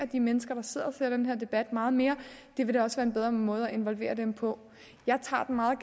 de mennesker der sidder og ser den her debat meget mere det vil da også være en bedre måde at involvere dem på jeg tager den meget